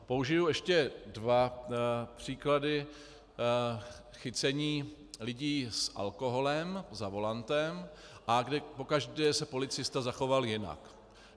Použiji ještě dva příklady chycení lidí s alkoholem za volantem, kde pokaždé se policista zachoval jinak.